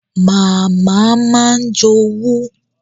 Màmá máa ń jowú